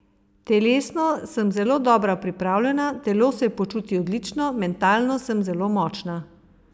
Telesno sem zelo dobro pripravljena, telo se počuti odlično, mentalno sem zelo močna.